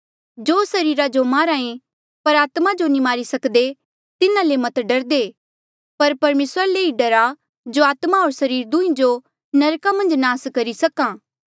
जो सरीरा जो मारहा ऐें पर आत्मा जो नी मारी सक्दे तिन्हा ले मत डरदे पर परमेसरा ले ई डरा जो आत्मा होर सरीर दुंहीं जो नरका मन्झ नास करी सक्हा